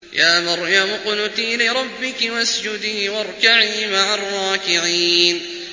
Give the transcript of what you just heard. يَا مَرْيَمُ اقْنُتِي لِرَبِّكِ وَاسْجُدِي وَارْكَعِي مَعَ الرَّاكِعِينَ